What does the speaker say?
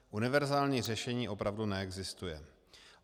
Univerzální řešení opravdu neexistuje.